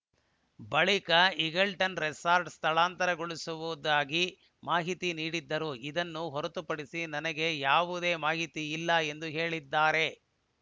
ಬಳಿಕ ಈಗಲ್ಟನ್‌ ರೆಸಾರ್ಟ್‌ಗೆ ಸ್ಥಳಾಂತರಗೊಳ್ಳುತ್ತಿರುವುದಾಗಿ ಮಾಹಿತಿ ನೀಡಿದ್ದರು ಇದನ್ನು ಹೊರತುಪಡಿಸಿ ನನಗೆ ಯಾವುದೇ ಮಾಹಿತಿ ಇಲ್ಲ ಎಂದು ಹೇಳಿದ್ದಾರೆ